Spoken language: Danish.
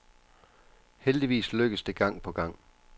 Heldigvis lykkes det gang på gang.